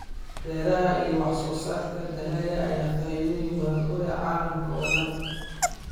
Beeraha iyo wax soo saarka dalagga ayaa faa'iidooyin badan u leh caalamka oo dhan.